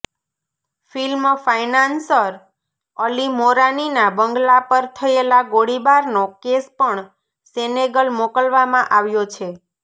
film financier Ali મોરાનીનાં બંગલા પર થયેલા ગોળીબારનો કેસ પણ સેનેગલ મોકલવામાં આવ્યો છે